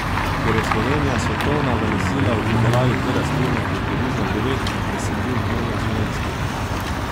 Ker je Slovenija svetovna velesila v pridelavi te rastline, je približno devet desetin hmelja slovenskega.